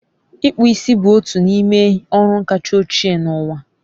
Ịkpụ isi bụ otu n'ime ọrụ kacha ochie n'ụwa